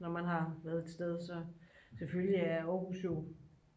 når man har været et sted så selvfølgelig er aarhus jo